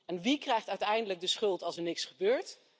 En wie krijgt uiteindelijk de schuld als er niks gebeurt?